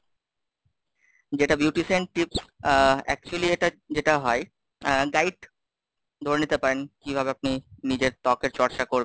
যেটা Beautician Tips, অ্যা exclusively এটা যেটা হয় অ্যা Guide ধরে নিতে পারেন, কিভাবে আপনি নিজের ত্বকের চর্চা করবেন?